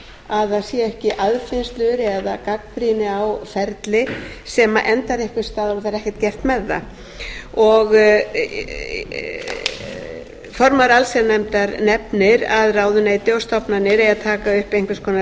að það sé ekki aðfinnslur eða gagnrýni á ferli sem endar einhvers staðar og verður ekkert gert með það formaður allsherjarnefndar nefnir að ráðuneyti og stofnanir eigi að taka upp einhvers konar